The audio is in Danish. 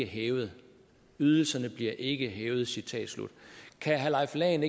hævet ydelserne bliver ikke hævet citat slut kan herre leif lahn